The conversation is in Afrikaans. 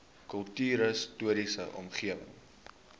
kultuurhis toriese omgewing